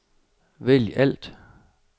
vælg alt